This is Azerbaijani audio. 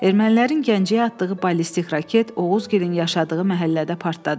Ermənilərin Gəncəyə atdığı ballistik raket Oğuzgilin yaşadığı məhəllədə partladı.